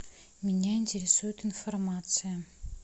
меня интересует информация